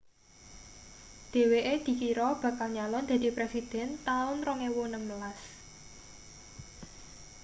dheweke dikira bakal nyalon dadi presiden taun 2016